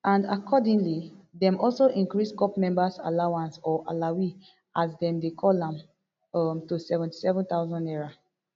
and accordingly dem also increase corps members allowance or alawee as dem dey call am um to seventy-seven thousand naira